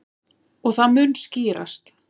Og það mun skýrast.